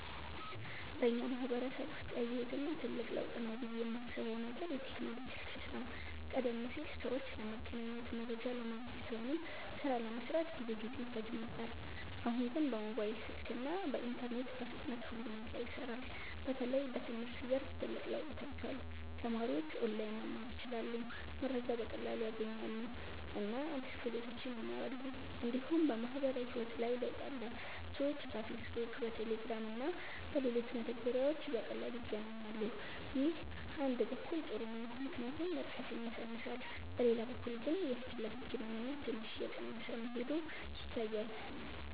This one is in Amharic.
በእኛ ማህበረሰብ ውስጥ ያየሁት እና ትልቅ ለውጥ ነው ብዬ የማስበው ነገር የቴክኖሎጂ እድገት ነው። ቀደም ሲል ሰዎች ለመገናኘት፣ መረጃ ለማግኘት ወይም ሥራ ለመስራት ብዙ ጊዜ ይፈጅ ነበር። አሁን ግን በሞባይል ስልክ እና በኢንተርኔት በፍጥነት ሁሉ ነገር ይሰራል። በተለይ በትምህርት ዘርፍ ትልቅ ለውጥ ታይቷል። ተማሪዎች ኦንላይን መማር ይችላሉ፣ መረጃ በቀላሉ ያገኛሉ እና አዲስ ክህሎቶችን ይማራሉ። እንዲሁም በማህበራዊ ህይወት ላይ ለውጥ አለ። ሰዎች በፌስቡክ፣ በቴሌግራም እና በሌሎች መተግበሪያዎች በቀላሉ ይገናኛሉ። ይህ አንድ በኩል ጥሩ ነው ምክንያቱም ርቀትን ያሳንሳል፤ በሌላ በኩል ግን የፊት ለፊት ግንኙነት ትንሽ እየቀነሰ መሄዱ ይታያል።